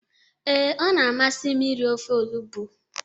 Ee, ọ na-amasị m iri ofe olugbu